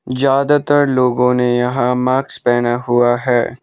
ज्यादातर लोगों ने यहां मार्क्स पहना हुआ है।